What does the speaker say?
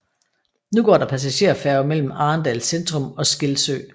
Nu går der passagerfærge mellem Arendal centrum og Skilsø